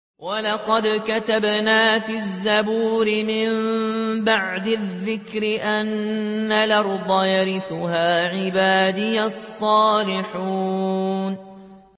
وَلَقَدْ كَتَبْنَا فِي الزَّبُورِ مِن بَعْدِ الذِّكْرِ أَنَّ الْأَرْضَ يَرِثُهَا عِبَادِيَ الصَّالِحُونَ